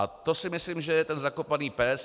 A to si myslím, že je ten zakopaný pes.